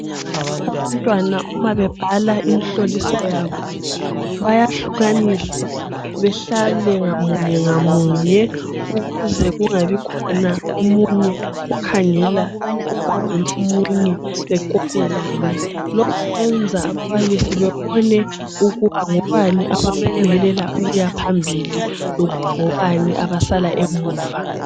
Abantwana uma bebhala imihloliso yabo bayahlukaniswa behlale ngamunye ngamunye ukuze kungabikhona omunye okhangela ugwalo lomunye bekopelane. Lokhu kwenza ababalisi bebone ukuba ngobani abaphumelela ukuya phambili lokuba ngobani abasala emuva.